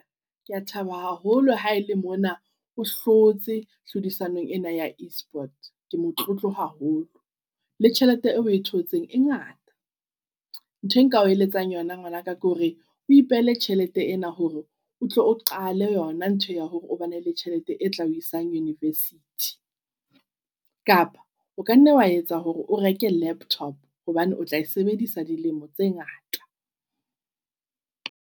Ke a thaba haholo ha ele mona o hlotse tlhodisanong ena ya e-sports. Ke motlotlo haholo le tjhelete eo e thotseng e ngata. Ntho e nkao eletsang yona ngwanaka ke hore o ipehele tjhelete ena hore o tlo o qale yona ntho ya hore bane le tjhelete e tla o isang university. Kapa o kanna wa etsa hore o reke laptop hobane o tlae sebedisa dilemo tse ngata.